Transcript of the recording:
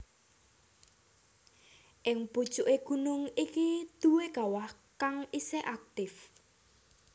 Ing pucuké gunung iki duwé kawah kang isih aktif